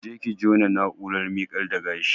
Je ki jona na'urar miƙar da gashi